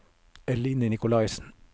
Eline Nicolaysen